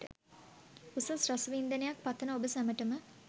උසස් රස වින්දනයක් පතන ඔබ සැමටම